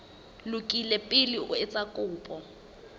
lokile pele o etsa kopo